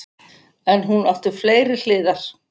En hún átti fleiri hliðar.